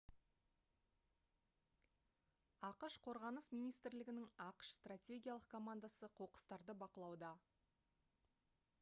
ақш қорғаныс министрлігінің ақш стратегиялық командасы қоқыстарды бақылауда